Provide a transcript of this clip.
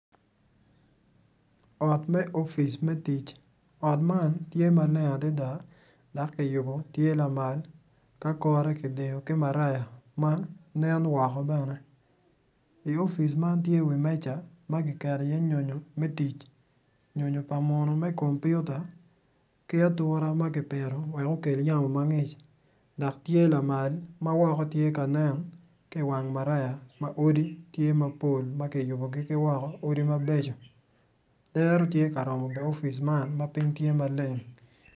Ot me ofice me tic ot man tye maleng adada dok kuyubo tye lamal ki kore kiyubo ki maraya ma en woko bene i opic man tye kiketo iye meja me tic nyonyo pa muno me kompiuta ki aturema ki pito wek okel yamo ma ngic.